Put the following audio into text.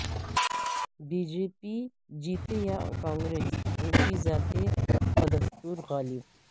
be J P جیتے یا کانگریس اونچی ذاتیں بدستور غالب